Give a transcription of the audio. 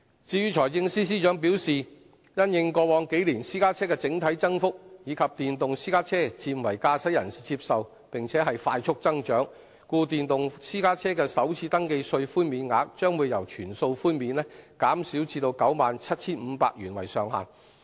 至於財政司司長表示因應過往數年私家車的整體增幅，以及電動私家車漸為駕駛人士接受並快速增長，所以電動私家車的首次登記稅寬免額，將由全數寬免減至以 97,500 元為上限。